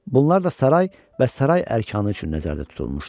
Bunlar da saray və saray əərkanı üçün nəzərdə tutulmuşdu.